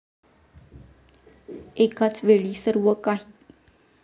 एकाच वेळी सर्व काही.